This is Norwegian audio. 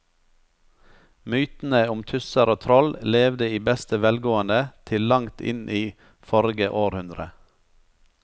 Mytene om tusser og troll levde i beste velgående til langt inn i forrige århundre.